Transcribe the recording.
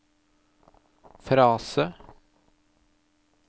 frase